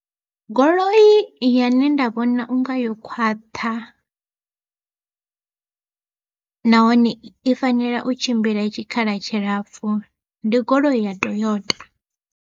Goloi yane nda vhona unga yo khwaṱha, nahone i fanela u tshimbila tshikhala tshilapfu ndi goloi ya Toyota.